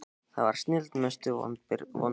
það var snilld Mestu vonbrigði?